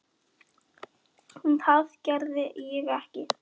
En það gerði ég ekki.